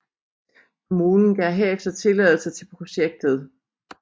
Kommunen gav herefter tilladelse til projektet